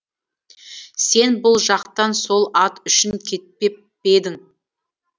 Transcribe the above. сен бұл жақтан сол ат үшін кетпеп пе едің